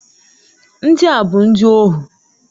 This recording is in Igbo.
Ndị a bụ ndị ohu.